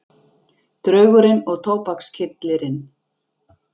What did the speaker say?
Draugurinn og tóbakskyllirinn